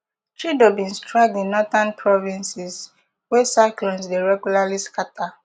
chido bin strike di northern provinces wey cyclones dey regularly scata